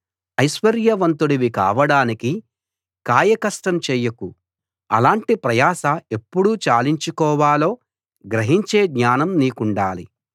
ఐశ్వర్యవంతుడివి కావడానికి కాయకష్టం చేయకు అలాటి ప్రయాస ఎప్పుడు చాలించుకోవాలో గ్రహించే జ్ఞానం నీకుండాలి